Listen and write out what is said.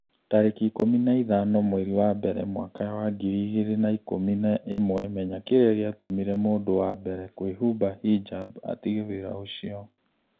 tarĩki ikũmi na ithano mweri wa mbere mwaka wa ngiri igĩrĩ na ikũmi na ĩmwe Menya kĩrĩa gĩatũmire mũndũ wa mbere kũhumba hijab 'atige wĩra ũcio.